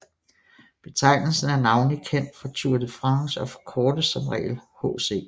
Betegnelsen er navnlig kendt fra Tour de France og forkortes som regel HC